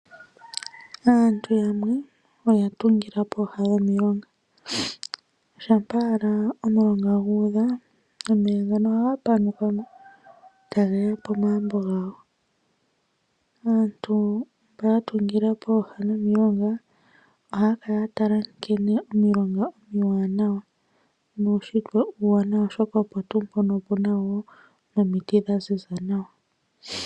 Aantu yamwe oya tungila pooha dhomilonga. Omulonga ngele ogu udha omeya ngaka ohage ya pomagumbo gawo. Aantu mboka ya tungila pooha dhomilonga ohaya kala ya tala nkene omulonga omuwanawa, nuushitwe uuwanawa oshoka pooha opuna omiti dha ziza nawa.